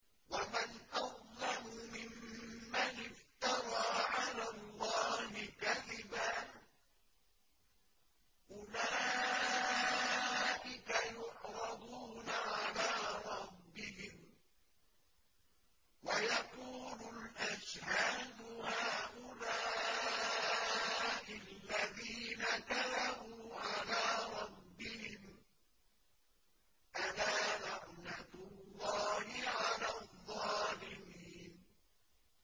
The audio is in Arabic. وَمَنْ أَظْلَمُ مِمَّنِ افْتَرَىٰ عَلَى اللَّهِ كَذِبًا ۚ أُولَٰئِكَ يُعْرَضُونَ عَلَىٰ رَبِّهِمْ وَيَقُولُ الْأَشْهَادُ هَٰؤُلَاءِ الَّذِينَ كَذَبُوا عَلَىٰ رَبِّهِمْ ۚ أَلَا لَعْنَةُ اللَّهِ عَلَى الظَّالِمِينَ